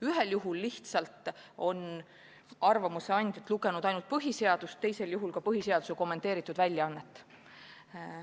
Ühel juhul lihtsalt on arvamuse andjad lugenud ainult põhiseadust, teisel juhul ka põhiseaduse kommenteeritud väljaannet.